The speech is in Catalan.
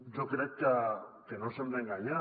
jo crec que no ens hem d’enganyar